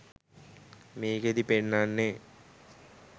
මේකෙදි පෙන්නන්නේ